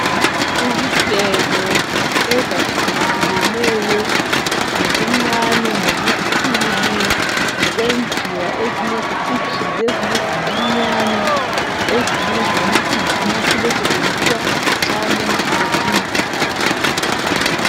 Izigelo ezahlukahlukeneyo ngobuncane, ngobukhulu, ngokwenziwa ezinye zicijile ezinye zincinyane ezinye zilamakhanda amakhulu ezisetshenziswa nxa umuntu ehlinzwa.